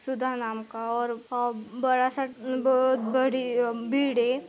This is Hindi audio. सुदा नाम का और बड़ासा बहुत बड़ी बिल्डिंग --